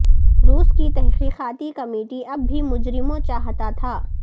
روس کی تحقیقاتی کمیٹی اب بھی مجرموں چاہتا تھا